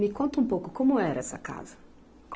Me conta um pouco, como era essa casa?